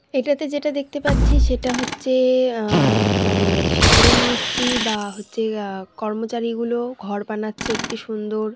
এটাতে যেটা দেখতে পাচ্ছি সেটা হচ্ছে আ-মানে শাটারিং মিস্ত্রী বা আ হচ্ছে কর্মচারী গুলো ঘর বানাচ্ছে একটি সুন্দর।